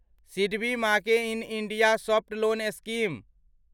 SIDBI make in India soft loan scheme